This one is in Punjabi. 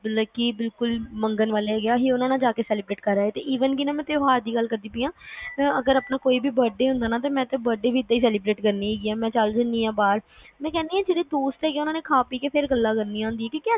ਮਤਲਬ ਕਿ ਮੰਗਣ ਵਾਲੇ ਹੈਗੇ ਆ ਉਹਨਾਂ ਨਾਲ celebrate ਕਰ ਆਓ even ਨਾ ਕਿ ਮੈਂ ਤਿਉਹਾਰ ਦੀ ਗੱਲ ਕਰਦੀ ਆ ਜੇ ਆਪਣਾ ਕੋਈਂ ਬਡੇ ਵੀ ਹੁੰਦਾ ਤਾ ਮੈਂ ਆਪਣਾ ਬਡੇ ਵੀ ਏਦਾਂ celebrate ਕਰਦੀ ਆ ਕੇ ਬਾਹਰ ਚਲ ਜਾਣੀ ਆ ਮੈਂ ਕਹਿਣੀ ਆ ਦੋਸਤ ਹੁੰਦੇ ਆ ਉਹਨਾਂ ਨੇ ਖਾ ਪੀ ਕੇ ਵੀ ਫੇਰ ਗੱਲਾਂ ਕਰਨੀਆਂ ਹੁੰਦੀਆਂ